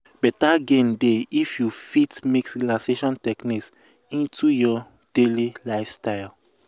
better gain dey if you fit mix relaxation techniques into your um daily lifestyle.